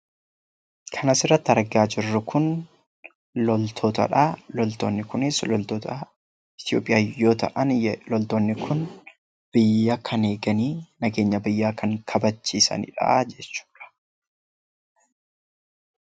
Kan as irratti argaa jirru kun loltootadha. Loltoonni kunis loltoota Itoophiyaa yoo ta'an, biyya kan eegan, nageenya biyyaa kan kabachiisanidha.